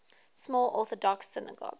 small orthodox synagogue